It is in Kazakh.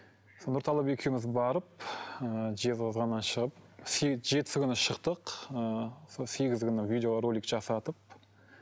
сол нұрталап екеуміз барып ы жезқазғаннан шығып жетісі күні шықтық ыыы сол сегізі күні видеоролик жасатып